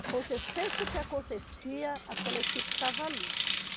Acontecesse o que acontecia, aquela equipe estava ali.